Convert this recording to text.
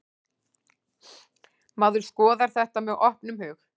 Maður skoðar þetta með opnum hug.